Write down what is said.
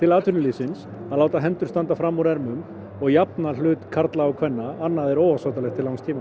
atvinnulífsins að láta hendur standa fram úr ermum og jafna hlut karla og kvenna annað er óásættanlegt til langs tíma